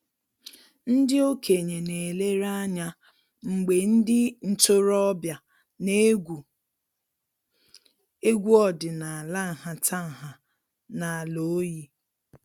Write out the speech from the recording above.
Ndị okenye na-elere anya mgbe ndị ntoroọbịa na-egwu egwu ọdịnaala nhatanha n'ala oyi